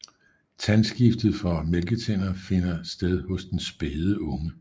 Tandskiftet fra mælketænder finder sted hos den spæde unge